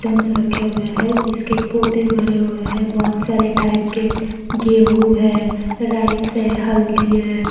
रखे हुआ है जिसके पोते भरे हुए है बहुत सारे टाइप के गेहूं है राइस है हल्दी है।